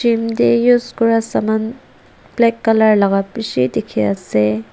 gym tey use kuria saman plak colour laka pishi dikhi ase.